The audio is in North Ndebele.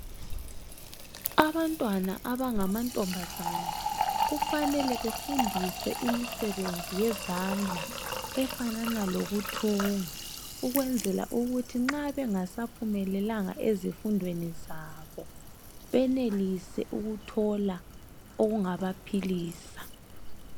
Abantwana abangamantombazana kufanele befundiswe imisebenzi yezand la efanana lokuthunga ukwenzela ukuthi nxa bengasaphumelelanga ezifundweni zabo benelise ukuthola okungabaphilisa.